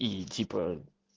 и типа